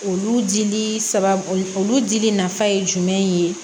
Olu dili saba olu dili nafa ye jumɛn ye